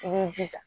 I b'i jija